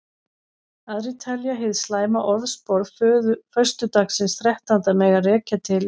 Aðrir telja hið slæma orðspor föstudagsins þrettánda mega rekja til aldingarðsins Eden.